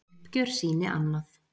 Uppgjör sýni annað.